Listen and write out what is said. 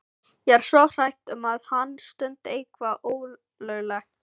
Ég er svo hrædd um að hann stundi eitthvað ólöglegt.